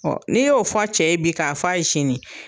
n'i y'o f'a cɛ ye bi k'a f'a ye sini